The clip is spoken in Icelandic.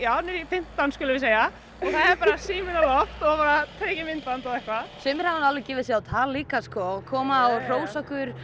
fimmtán skulum við segja og það er bara síminn á loft og tekið myndband og eitthvað sumir hafa nú líka gefið sig á tal líka sko og koma og hrósa okkur